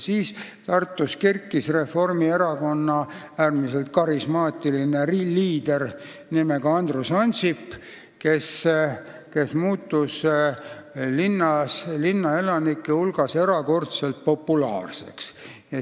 Siis tekkis Tartus Reformierakonna äärmiselt karismaatiline liider nimega Andrus Ansip, kes muutus linnaelanike hulgas erakordselt populaarseks.